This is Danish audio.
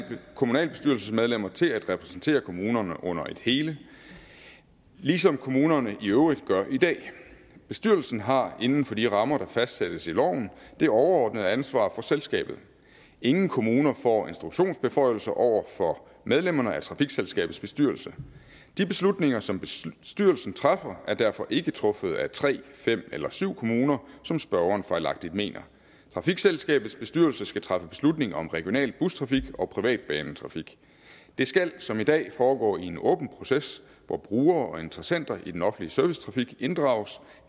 kommunalbestyrelsesmedlemmer til at repræsentere kommunerne under et hele ligesom kommunerne i øvrigt gør i dag bestyrelsen har inden for de rammer der fastsættes i loven det overordnede ansvar for selskabet ingen kommuner får instruktionsbeføjelser over for medlemmerne af trafikselskabets bestyrelse de beslutninger som bestyrelsen træffer er derfor ikke truffet af tre fem eller syv kommuner som spørgeren fejlagtigt mener trafikselskabets bestyrelse skal træffe beslutning om regional bustrafik og privatbanetrafik det skal som i dag foregår i en åben proces hvor brugere og interessenter i den offentlige servicetrafik inddrages